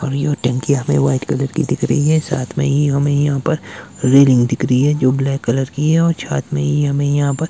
और यह टंकी यहां पे व्हाइट कलर की दिख रही है साथ में ही हमें यहां पर रेलिंग दिख रही है जो ब्लैक कलर की है और साथ में ही हमें यहां पर--